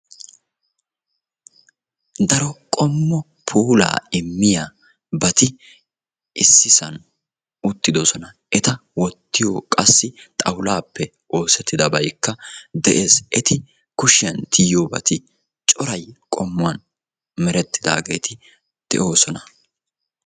daro qommo puulaa immiyabati issisan uttidosona. eta wottiyo qassi xawulaappe oosettidabayikka de'es. eti kushiyan tiyettiyobay cora qommuwan merettidaageeti de'oosona.